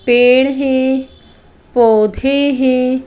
पेड़ हैं पौधे हैं।